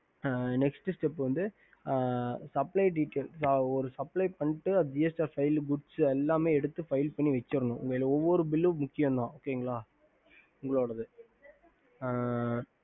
Nest Sep Supple Details வரும் எல்லாமே file பண்ணி வச்சிடனும் உங்களது ஒவ்வொரு bill முக்கியம் தா